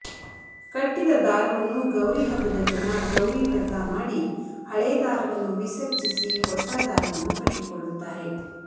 ಕಟ್ಟಿದ ದಾರವನ್ನು ಗೌರಿಹಬ್ಬದ ದಿನ ಗೌರಿವ್ರತ ಮಾಡಿ ಹಳೇ ದಾರವನ್ನು ವಿಸರ್ಜಿಸಿ ಹೊಸ ದಾರವನ್ನು ಕಟ್ಟಿಕೊಳ್ಳುತ್ತಾರೆ